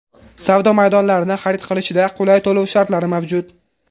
Savdo maydonlarini xarid qilishda qulay to‘lov shartlari mavjud.